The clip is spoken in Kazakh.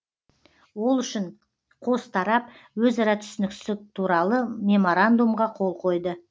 ол үшін қос тарап өзара түсіністік туралы меморандумға қол қойды